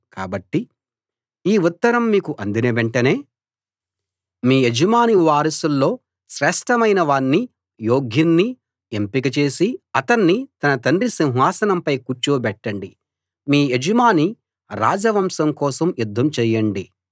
కాబట్టి ఈ ఉత్తరం మీకు అందిన వెంటనే మీ యజమాని వారసుల్లో శ్రేష్ఠమైన వాణ్ణీ యోగ్యుణ్ణీ ఎంపిక చేసి అతణ్ణి తన తండ్రి సింహాసనంపై కూర్చోబెట్టండి మీ యజమాని రాజ వంశం కోసం యుద్ధం చేయండి